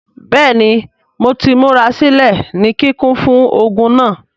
Bẹẹni Mo ti murasilẹ ni kikun fun ogun naa.